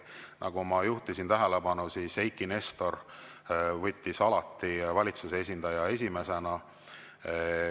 Nagu ma juhtisin tähelepanu, Eiki Nestor võttis alati valitsuse esindaja esimesena.